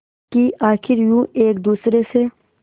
कि आखिर यूं एक दूसरे से